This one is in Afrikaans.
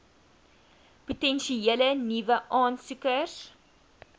potensiële nuwe aansoekers